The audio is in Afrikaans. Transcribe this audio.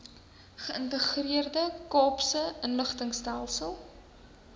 geïntegreerde kaapse inligtingstelsel